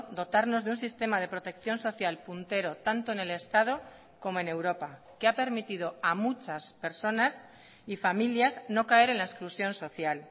dotarnos de un sistema de protección social puntero tanto en el estado como en europa que ha permitido a muchas personas y familias no caer en la exclusión social